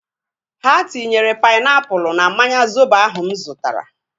Ha tinyere painiapulu na mmanya zobo ahu mụ zụtara